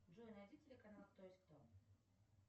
джой найди телеканал кто есть кто